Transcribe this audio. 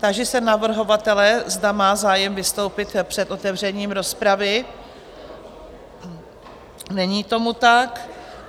Táži se navrhovatele, zda má zájem vystoupit před otevřením rozpravy, Není tomu tak.